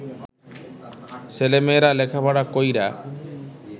ছেলেমেয়েরা লেখাপড়া কইরা